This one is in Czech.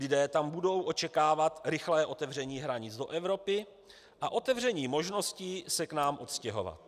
Lidé tam budou očekávat rychlé otevření hranic do Evropy a otevření možností se k nám odstěhovat.